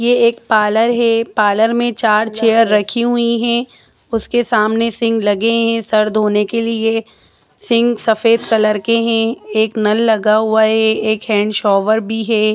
Parlour है parlour में चार चेयर रखी हुई है उसके सामने सींग लगे है सर धोने के लिए सींग सफ़ेद कलर के है एक नल लगा हुआ है एक हैंडशोवर भी है।